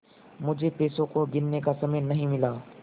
मुझे पैसों को गिनने का समय नहीं मिला